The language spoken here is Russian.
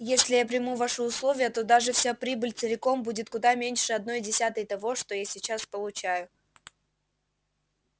если я приму ваши условия то даже вся прибыль целиком будет куда меньше одной десятой того что я сейчас получаю